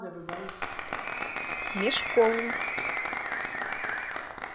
мешкову